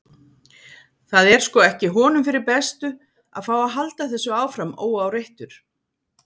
Það er sko ekki honum fyrir bestu að fá að halda þessu áfram óáreittur.